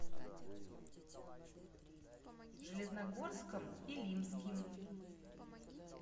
железногорском илимским